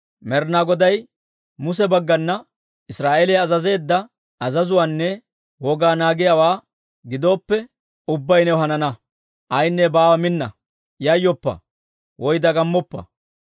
Med'inaa Goday Muse baggana Israa'eeliyaa azazeedda azazuwaanne wogaa naagiyaawaa gidooppe, ubbay new hanana. Aynne baawaa minna! Yayyoppa woy dagammoppa!